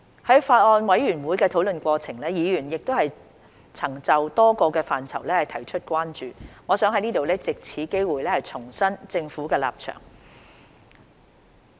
在法案委員會討論的過程中，議員曾就多個範疇提出關注，我想藉此機會重申政府的立場。